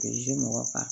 mɔgɔ kan